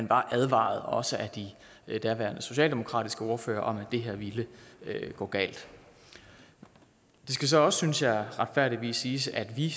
var advaret også af de daværende socialdemokratiske ordførere om at det her ville gå galt det skal så også synes jeg retfærdigvis siges at vi